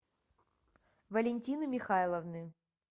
валентины михайловны